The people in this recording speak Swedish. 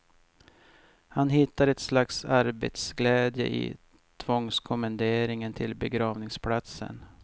Han hittar ett slags arbetets glädje i tvångskommenderingen till begravningsplatsen.